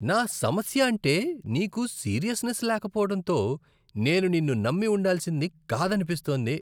నా సమస్య అంటే నీకు సీరియస్నెస్ లేకపోవడంతో నేను నిన్ను నమ్మి ఉండాల్సింది కాదనిపిస్తోంది.